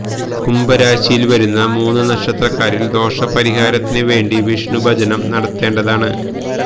കുംഭം രാശിയില് വരുന്ന മൂന്ന് നക്ഷത്രക്കാരില് ദോഷ പരിഹാരത്തിന് വേണ്ടി വിഷ്ണു ഭജനം നടത്തേണ്ടതാണ്